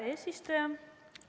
Hea eesistuja!